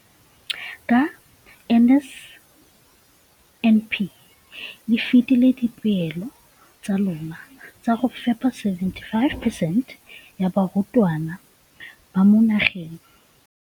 Ka NSNP le fetile dipeelo tsa lona tsa go fepa masome a supa le botlhano a diperesente ya barutwana ba mo nageng.